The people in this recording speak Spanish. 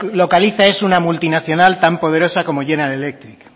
la deslocaliza es una multinacional tan poderosa como general electric